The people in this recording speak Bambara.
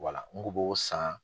Wala san